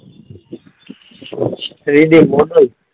Three D model?